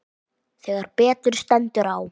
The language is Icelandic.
Þegar betur stendur á.